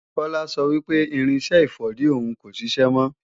Kola sọ wí pé irinṣẹ́ ìfọ̀dí òhun kò ṣiṣẹ́ mọ́